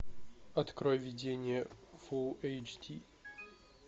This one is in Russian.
открой видение фул эйч ди